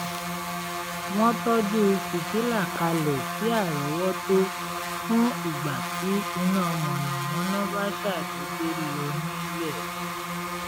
wọ́n tọ́jú fìtílà kalẹ̀ sí árọ́wọ́tó fún ìgbà tí iná mànàmáná bá ṣàdédé lọ nílé